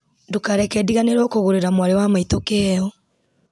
ndũkareke ndiganĩrwo kũgũrĩra mwarĩ wa maitũ kĩheo